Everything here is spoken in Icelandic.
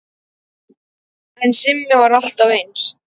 En Simmi var alltaf eins.